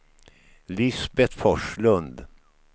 Lisbeth Forslund